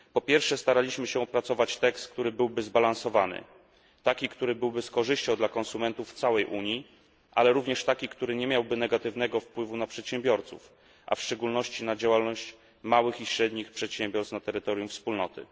Po pierwsze, staraliśmy się opracować tekst, który byłby zbalansowany, taki, który byłby z korzyścią dla konsumentów w całej Unii, ale również taki, który nie miałby negatywnego wpływu na przedsiębiorców, a w szczególności na działalność małych i średnich przedsiębiorstw na terytorium Wspólnoty.